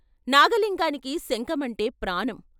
నాగలింగానికి శంఖం అంటే ప్రాణం.